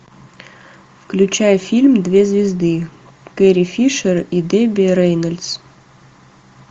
включай фильм две звезды терри фишер и дебби рейнольдс